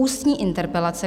Ústní interpelace